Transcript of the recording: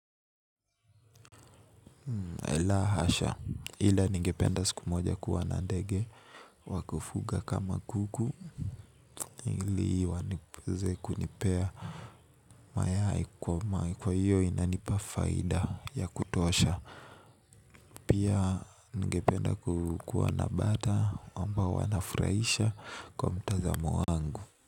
La hasha. Ila ngependa siku moja kuwa na ndege wakufuga kama kuku. Ili wanipuze kunipea mayai kwa iyo inanipa faida ya kutosha. Pia ningependa kuwa na bata ambao wanafurahisha kwa mtazamo wangu.